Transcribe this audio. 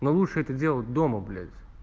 ну лучше это делать дома блять